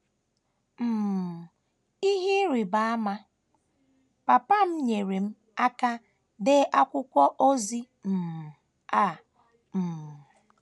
“ um Ihe Ịrịba Ama: Papa m nyeere m aka dee akwụkwọ ozi um a. um ”